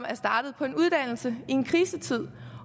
er startet på en uddannelse i en krisetid